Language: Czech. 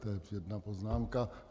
To je jedna poznámka.